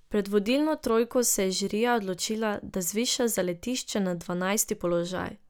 Pred vodilno trojko se je žirija odločila, da zviša zaletišče na dvanajsti položaj.